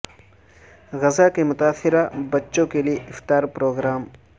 غزہ کے متاثرہ بچوں کے لیے افطار پروگرام